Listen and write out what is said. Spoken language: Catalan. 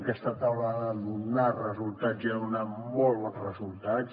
aquesta taula ha de donar resultats i ha donat molts bons resultats